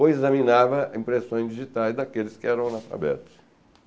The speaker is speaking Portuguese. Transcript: ou examinava impressões digitais daqueles que eram analfabetos.